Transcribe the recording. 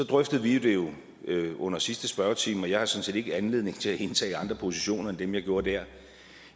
drøftede vi det jo under sidste spørgetime og jeg har sådan set ikke anledning til at indtage andre positioner end dem jeg gjorde der